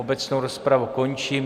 Obecnou rozpravu končím.